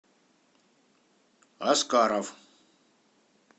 аскаров